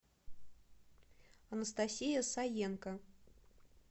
анастасия саенко